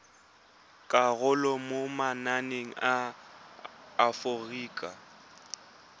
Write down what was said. karolo mo mananeng a aforika